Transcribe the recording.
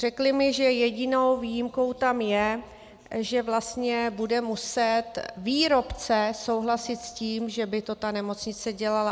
Řekli mi, že jedinou výjimkou tam je, že vlastně bude muset výrobce souhlasit s tím, že by to ta nemocnice dělala.